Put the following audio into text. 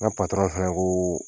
N patɔrɔn fana koo